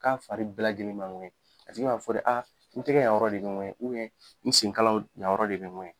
K'a fari bɛɛ lajɛlen b'a ŋuwɛɲɛ a tigi b'a fɔ de n tɛgɛ yanyɔrɔ de bɛ ŋuwɛɲɛ n senkalaw yanyɔrɔ de bɛ ŋuwɛɲɛ.